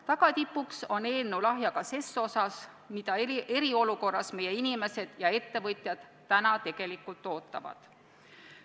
Tagatipuks on eelnõu lahja ka selles osas, mida meie inimesed ja ettevõtjad tegelikult täna, eriolukorras ootavad.